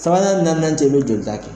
Sabanan nana jɛ jɔta kɛ.